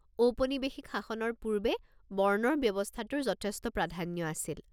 ঔপনিবেশিক শাসনৰ পূৰ্বে বৰ্ণৰ ব্যৱস্থাটোৰ যথেষ্ট প্ৰাধান্য আছিল।